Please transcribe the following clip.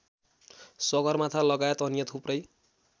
सगरमाथालगायत अन्य थुप्रै